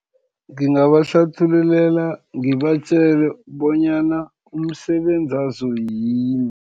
Ngingabahlathululela, ngibatjele bonyana umsebenzi wazo yini.